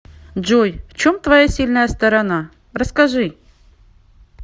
джой в чем твоя сильная сторона расскажи